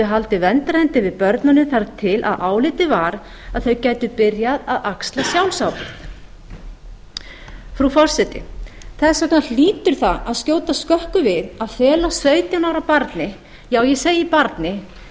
haldið verndarhendi yfir börnunum þar til álitið var að þau gætu byrjað að axla sjálfsábyrgð frú forseti þess vegna hlýtur það að skjóta skökku við að fela sautján ára barni já ég segi barni